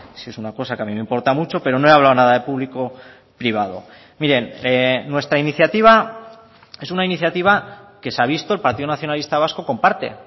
sí es una cosa que a mí me importa mucho pero no he hablado nada de público privado miren nuestra iniciativa es una iniciativa que se ha visto el partido nacionalista vasco comparte